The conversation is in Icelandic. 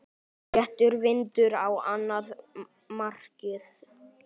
Léttur vindur á annað markið.